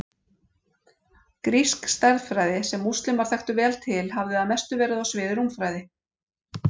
Grísk stærðfræði, sem múslímar þekktu vel til, hafði að mestu verið á sviði rúmfræði.